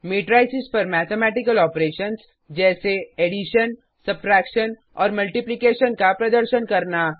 matrices पर mathematical operations जैसे addition subtraction और मल्टीप्लीकेशन का प्रदर्शन करना